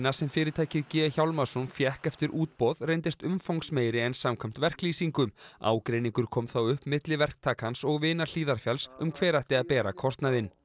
sem fyrirtækið g Hjálmarsson fékk eftir útboð reyndist umfangsmeiri en samkvæmt verklýsingu ágreiningur kom þá upp milli verktakans og vina Hlíðarfjalls um hver ætti að bera kostnaðinn